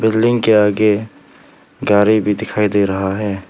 Building के आगे गाड़ी भी दिखाई दे रहा है।